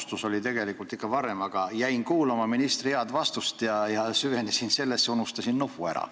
Otsus oli tegelikult ikka varem, aga jäin kuulama ministri head vastust ja unustasin nupu ära.